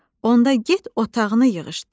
Onda get otağını yığışdır.